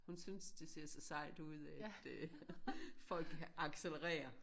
Hun synes det ser så sejt ud at øh folk accelererer